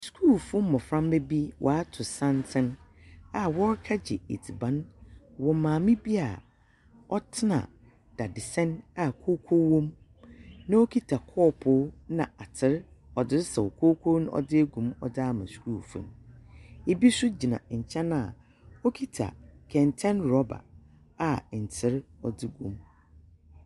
Skuulfo mboframba bi wɔatow santsen a wɔrekɛgye edziban wɔ maame bi a ɔtsena dadesɛn a kooko wɔ mu, na okitsa kɔɔpow na atser, ɔdze resaw kooko no ɔdze agu mu ɔdze ama skuulfo no, bi nso gyina nkyɛn a okitsa kɛntsɛn rɔba a ntser ɔdze gu mu.